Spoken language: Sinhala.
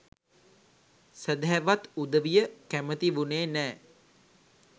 සැදැහැවත් උදවිය කැමති වුනේ නෑ